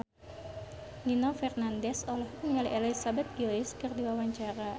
Nino Fernandez olohok ningali Elizabeth Gillies keur diwawancara